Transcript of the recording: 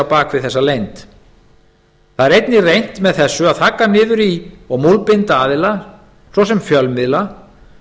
bak við þessa leynd einnig er reynt með þessu að þagga niður í og múlbinda aðila svo sem fjölmiðla